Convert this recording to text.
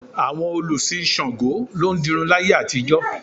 Àwọn olùsìn Ṣàngó ló ń dirun láyé àtijọ́